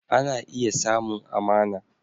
Ana iya samun amana